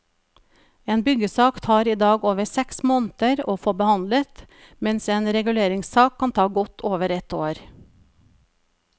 En byggesak tar i dag over seks måneder å få behandlet, mens en reguleringssak kan ta godt over ett år.